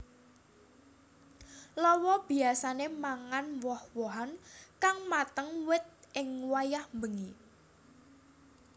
Lawa biyasané mangan woh wohan kang mateng wit ing wayah bengi